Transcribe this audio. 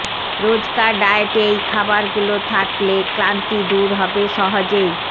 রোজকার ডায়েটে এই খাবারগুলো থাকলে ক্লান্তি দূর হবে সহজেই